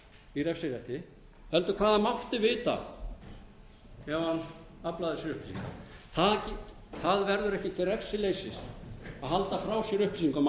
í refsirétti heldur hvað hann mátti vita ef hann aflaði sér upplýsinga það verður ekki til refsileysis að halda frá sér upplýsingum að maður mæti ekki